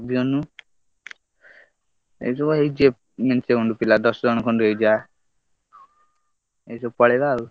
ଅଭିମନ୍ୟୁ ଏଇ ସବୁ ହେଇଯିବେ ମେଞ୍ଚେ ଖଣ୍ଡ ପିଲା ଦଶ ଜଣ ହେଇଯିବେ ଏଇ ସବୁ ପଳେଇବେ ଆଉ।